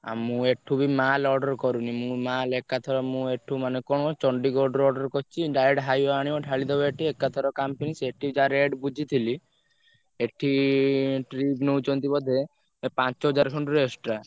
ଆଉ ମୁଁ ବି mall order କରୁନି ମୁଁ mall ଏକାଥରେ ମୁଁ ଏଠୁ ମାନେ କଣ ଚଣ୍ଡିଗଡରୁ order କରିଛି direct highway ଆଣିବ ଢାଳିଦବ ଏଠି ଏକାଥରେ କାମ finish ଏଠି ଯାହା rate ବୁଝିଥିଲି ଏଠି trip ନଉଛନ୍ତି ବୋଧେ ପାଞ୍ଚହଜାର ଖଣ୍ଡରୁ extra ।